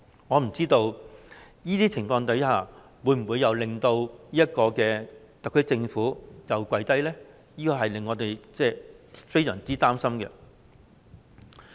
我不知道這些情況會否令特區政府再次跪低。這令我們感到非常擔心。